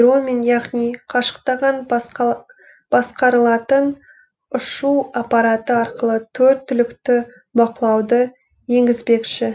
дронмен яғни қашықтаған басқарылатын ұшу апараты арқылы төрт түлікті бақылауды енгізбекші